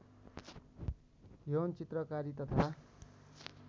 यौन चित्रकारी तथा